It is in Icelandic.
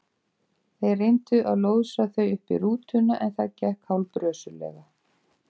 Þeir reyndu að lóðsa þau uppí rútuna en það gekk hálf brösulega.